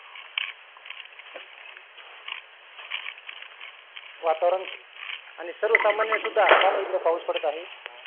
वातावरण आणि सर्व सामान्य सुद्धा का नाही इथं पाऊस पडत आहे?